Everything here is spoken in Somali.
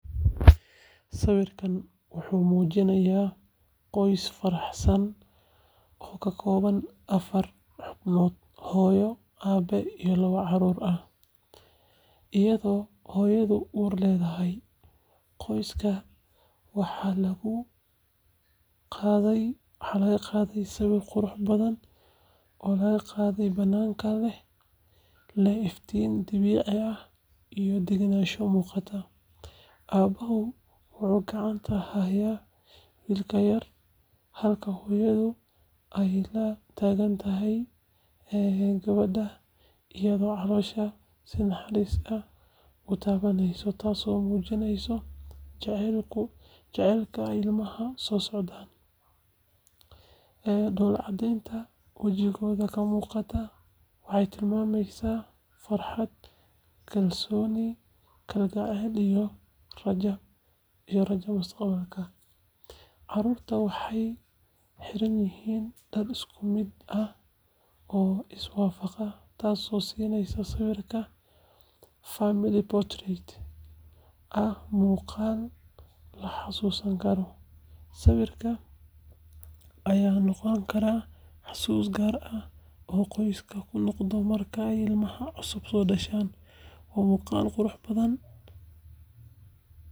Sawirkan wuxuu muujinayaa qoys faraxsan oo ka kooban afar xubnood—hooyo, aabe, iyo labo carruur ah iyadoo hooyadu uur leedahay. Qoyska waxaa lagu qaaday sawir qurux badan oo laga qaaday bannaanka, leh iftiin dabiici ah iyo degganaansho muuqata. Aabbuhu wuxuu gacanta ku hayaa wiilka yar halka hooyadu ay la taagan tahay gabadha, iyada oo caloosha si naxariis leh u taabaneysa, taasoo muujineysa jacaylka ilmaha soo socda. Dhoolla-caddeynta wejigooda ka muuqata waxay tilmaamaysaa farxad, kalgacal iyo rajada mustaqbalka. Carruurta waxay xiran yihiin dhar isku mid ah oo is waafaqaya, taasoo siinaysa sawirka family portrait ah muuqaal la xasuusan karo. Sawirkan ayaa noqon kara xusuus gaar ah oo qoyska u noqota markay ilmaha cusub soo dhasho. Waa muuqaal qurux badan.